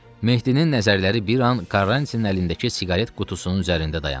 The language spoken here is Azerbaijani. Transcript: Mehdinin nəzərləri bir an Karrantinin əlindəki siqaret qutusunun üzərində dayandı.